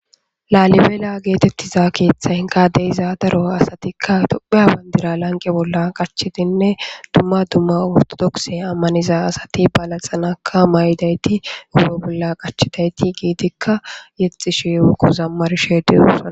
laalibeela geetettiza keeththay inkade iza daro asatikka topheya bandira lanqe bolla qachitinne dumma dumma urtodokse ammaniza asati balaxanaka may7idayti uube bolla qachidayti giidikka yexxi sheu kozammar sheediyussaa